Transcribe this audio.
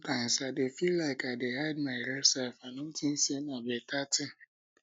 sometimes i dey feel like i dey hide my real self and i no think sey na better thing